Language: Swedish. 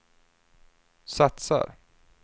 satsar